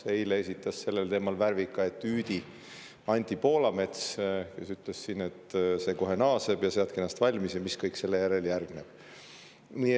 Eile esitas sellel teemal värvika etüüdi Anti Poolamets, kes ütles, et see kohe naaseb, seadke ennast valmis, ja rääkis, mis kõik sellele järgneb.